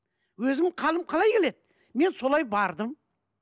өзім қалім қалай келеді мен солай бардым